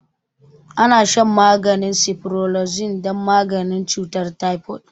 Ana shan maganin ciprofloxacin don maganin cutar typhoid